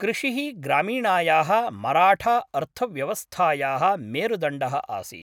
कृषिः ग्रामीणायाः मराठाअर्थव्यवस्थायाः मेरुदण्डः आसीत्।